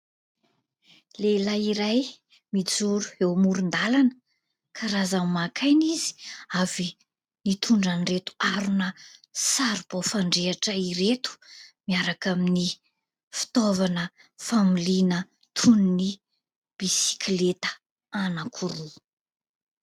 Lehilahy iray mijoro eo amoron-dalana. Karazany maka aina izy avy nitondra an' ireto harona saribao fandrehitra ireto miaraka amin'ny fitaovana familiana toy ny bisikileta anakiroa.